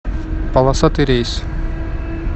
полосатый рейс